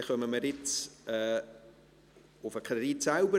Nun kommen wir zum Kredit selbst.